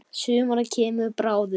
Sumar kemur bráðum.